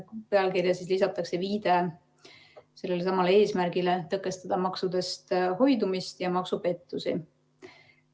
Pealkirja lisatakse viide sellele samale eesmärgile: tõkestada maksudest hoidumist ja maksupettusi.